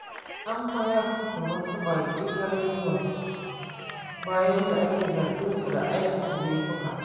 An mayar da wasu baƙi garuruwansu, bayan da ake zargin su da aikata laifuka.